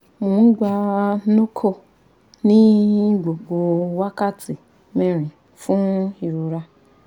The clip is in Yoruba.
mo n gba norco ni gbogbo wakati mẹrin fun irora